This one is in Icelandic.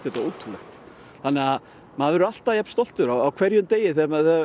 þetta ótrúlega þannig maður verður alltaf jafn stoltur á hverjum degi þegar maður